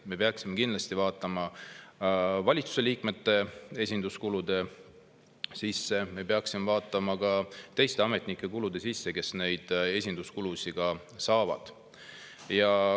Me peaksime kindlasti üle vaatama valitsuse liikmete esinduskulud, me peaksime üle vaatama ka nende ametnike kulud, kelle esinduskulusid.